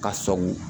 Ka sɔngɔ